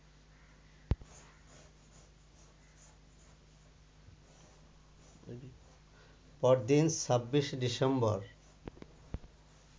পরদিন ২৬ ডিসেম্বর